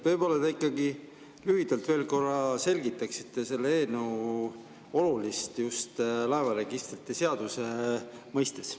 Võib-olla te ikkagi lühidalt veel korra selgitaksite selle eelnõu olulisust just laevaregistrite seaduse mõistes.